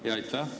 Aitäh!